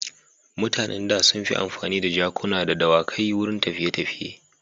Mutanen da sun fi amfani da jakuna da dawakai wurin tafiye-tafiye.